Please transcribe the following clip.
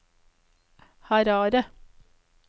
Harare